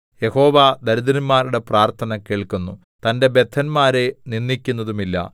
യഹോവ ദരിദ്രന്മാരുടെ പ്രാർത്ഥന കേൾക്കുന്നു തന്റെ ബദ്ധന്മാരെ നിന്ദിക്കുന്നതുമില്ല